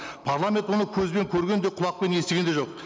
парламент оны көзбен көрген де құлақпен естіген де жоқ